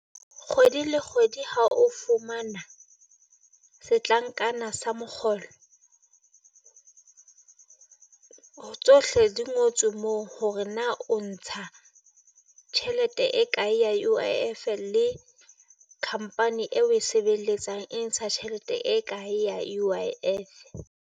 Kgwedi le kgwedi ha o fumana setlankana sa mokgolo, ho tsohle di ngotswe moo ho hore na o ntsha tjhelete e kae ya U_I_F-e le company eo e sebeletsang e ntsha tjhelete e kae ya U_I_F-e.